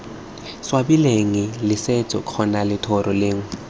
swabileng letseto kgotsa lethoro lengwe